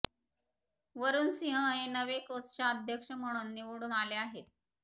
वरुण सिंह हे नवे कोषाध्यक्ष म्हणून निवडून आले आहेत